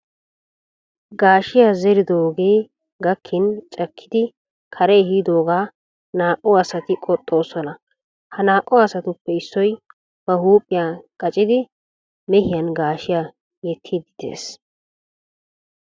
Gaashiya zeridoogee gakkin cakkidi kare ehidoogaa naa"u asati qoxxoosona. Ha naa"u asatuppe issoy ba huuphiya qacidi mehiyan gaashshiya yettidi de'ees.